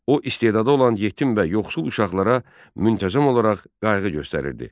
O istedadlı olan yetim və yoxsul uşaqlara müntəzəm olaraq qayğı göstərirdi.